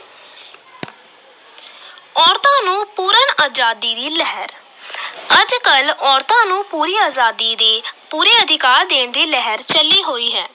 ਔਰਤਾਂ ਨੂੰ ਪੂਰਨ ਆਜ਼ਾਦੀ ਦੀ ਲਹਿਰ ਅੱਜ ਕੱਲ੍ਹ ਔਰਤਾਂ ਨੂੰ ਪੂਰੀ ਆਜ਼ਾਦੀ ਦੀ, ਪੂਰੇ ਅਧਿਕਾਰ ਦੇਣ ਦੀ ਲਿਹਰ ਚੱਲੀ ਹੋਈ ਹੈ।